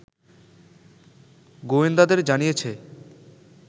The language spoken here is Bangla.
গোয়েন্দাদের জানিয়েছে